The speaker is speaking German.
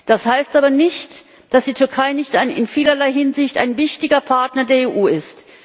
Das heißt aber nicht, dass die Türkei nicht ein in vielerlei Hinsicht wichtiger Partner der EU ist.